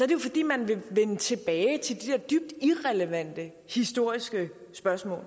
det jo fordi man vil vende tilbage til de der dybt irrelevante historiske spørgsmål